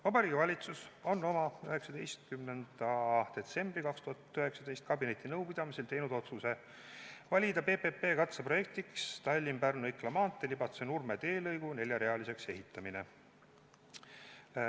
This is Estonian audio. " Vabariigi Valitsus on oma 19. detsembri 2019 kabinetinõupidamisel teinud otsuse valida PPP katseprojektiks Tallinna–Pärnu–Ikla maantee Libatse–Nurme teelõigu neljarealiseks ehitamise.